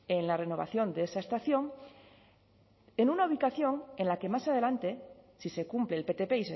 en la renovación de esa estación en una ubicación en la que más adelante si se cumple el ptp